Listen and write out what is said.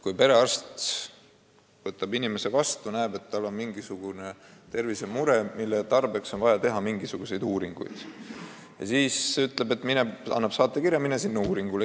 Kui perearst võtab inimese vastu ja näeb, et tal on tervisemure, mille puhul on vaja teha mingisuguseid uuringuid, siis ta annab saatekirja ja ütleb, et mine sinna uuringule.